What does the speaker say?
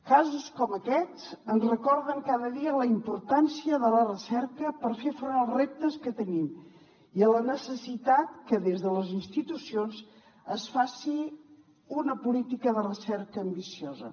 casos com aquests ens recorden cada dia la importància de la recerca per fer front als reptes que tenim i la necessitat que des de les institucions es faci una política de recerca ambiciosa